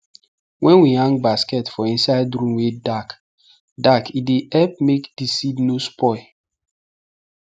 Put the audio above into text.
wen we hang basket for inside room wey dark dark e dey help make di seed nor spoil